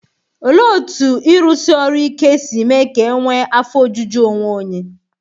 Olee otú ịrụsi ọrụ ike si mee ka e nwee afọ ojuju onwe onye?